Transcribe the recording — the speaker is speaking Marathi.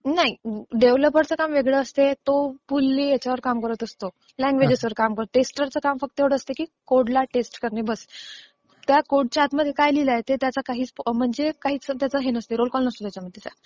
नाही. डेव्हलपरचे काम वेगळं असते, तो फुलली ह्याच्यावर काम करत असतो. लँग्वेजवर काम करतो. टेस्टरचं काम एवढं असतं की कोड ला टेस्ट करणे, बस! त्या कोडच्या आत काय लिहिलंय ह्याच्याशी त्याचा काही रोलकॉल नसतो.